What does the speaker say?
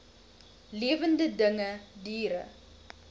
lewende dinge diere